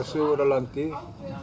sögur af landi